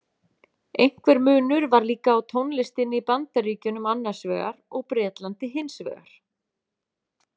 Einhver munur var líka á tónlistinni í Bandaríkjunum annarsvegar og Bretlandi hinsvegar.